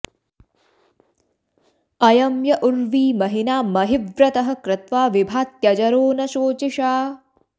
अ॒यं य उ॒र्वी म॑हि॒ना महि॑व्रतः॒ क्रत्वा॑ वि॒भात्य॒जरो॒ न शो॒चिषा॑